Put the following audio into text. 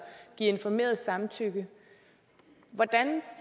give informeret samtykke hvordan